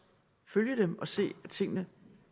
følge dem og se at tingene